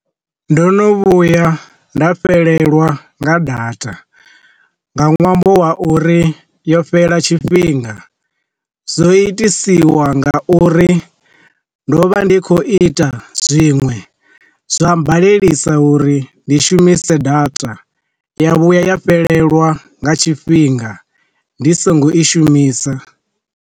Ndo no vhuya nda fhelelwa nga data, nga ṅwambo wa uri yo fhela tshifhinga, zwo i ḓisiwa nga uri ndo vha ndi khou ita zwiṅwe zwa badelisa uri ndi shumise data ya vhuya ya fhelelwa nga tshifhinga ndi songo i shumisa.